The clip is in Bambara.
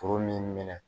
Foro min minɛ